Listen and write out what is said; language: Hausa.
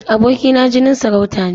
Aboki na jinin sarauta ne.